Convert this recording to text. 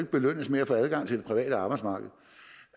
belønnes med at få adgang til det private arbejdsmarked